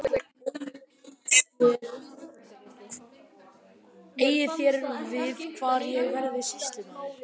SKÚLI: Eigið þér við hvar ég verði sýslumaður?